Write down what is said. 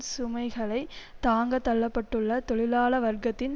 சுமைகளை தாங்கத் தள்ள பட்டுள்ள தொழிலாள வர்க்கத்தின்